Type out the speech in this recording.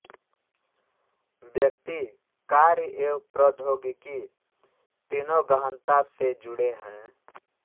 व्यक्ति कार्य एवं प्रौद्योगिकी तीनों गहनता से जुडे हैं